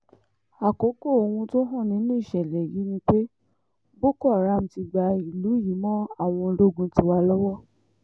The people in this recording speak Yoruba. àkókò ohun tó hàn nínú ìṣẹ̀lẹ̀ yìí ni pé boko haram ti gba ìlú yìí mọ́ àwọn ológun tiwa lọ́wọ́